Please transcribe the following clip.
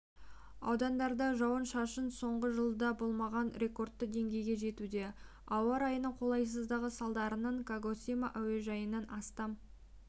аудандарда жауын-шашын соңғы жылда болмаған рекордты деңгейге жетуде ауа райының қолайсыздығы салдарынан кагосима әуежайынан астам